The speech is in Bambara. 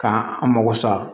K'an mago sa